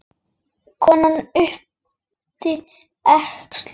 Konan yppti öxlum.